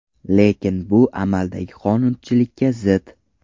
Lekin bu amaldagi qonunchilikka zid.